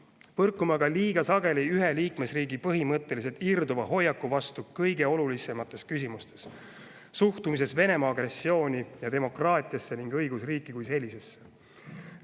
Põrkume aga liiga sageli ühe liikmesriigi põhimõtteliselt irduva hoiaku vastu kõige olulisemates küsimustes: suhtumises Venemaa agressiooni ja demokraatiasse ning õigusriiki kui sellisesse.